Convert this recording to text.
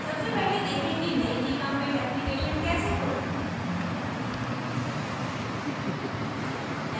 सबसे पहले देखें कि नयी gchempaint application कैसे खोलें